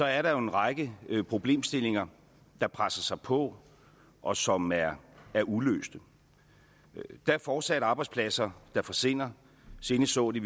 er der jo en række problemstillinger der presser sig på og som er er uløste der er fortsat arbejdspladser der forsvinder senest så vi